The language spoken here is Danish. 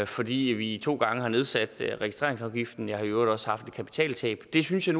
fordi vi to gange har nedsat registreringsafgiften jeg har i øvrigt også haft et kapitaltab det synes jeg